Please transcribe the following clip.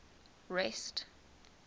rest